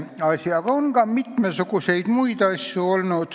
Aga on olnud ka mitmesuguseid muid asju.